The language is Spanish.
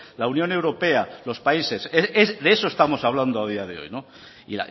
la unión europea los países de eso estamos hablando a día de hoy y